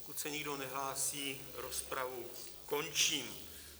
Pokud se nikdo nehlásí, rozpravu končím.